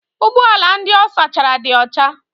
Ụgbọ ala ndị ọ sachara dị ọcha.